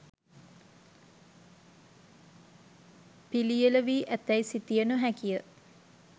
පිළියෙළ වී ඇතැයි සිතිය නොහැකිය.